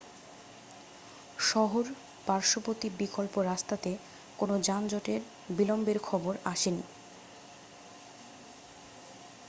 শহর-পার্শ্ববর্তী বিকল্প রাস্তাতে কোনো যানজটের বিলম্বের খবর আসেনি